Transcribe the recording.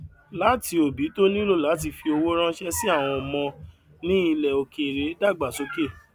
láti òbí tó nílò láti fi owó ránṣẹ sí àwọn ọmọ ní ilẹ òkèèrè dágbàsókè